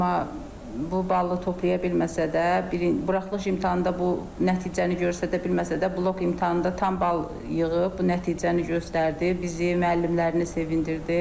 Amma bu balı toplaya bilməsə də, buraxılış imtahanında bu nəticəni göstədə bilməsə də, blok imtahanında tam bal yığıb bu nəticəni göstərdi, bizi, müəllimlərini sevindirdi.